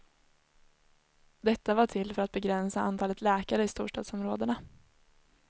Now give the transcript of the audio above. Detta var till för att begränsa antalet läkare i storstadsområdena.